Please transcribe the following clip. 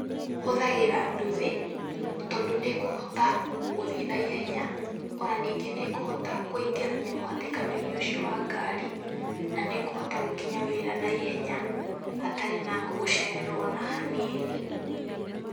Hũthagĩra nduthi tondũ nĩĩkũhota gũthiĩ naihenya o na ningĩ nĩĩkũhota kũingĩrania mũhatikano-inĩ ũcio wa ngari na nĩngũhota gũkinya wĩra na ihenya hatarĩ na gũcererwo o na hanini.